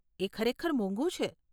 એ ખરેખર મોંઘુ છે.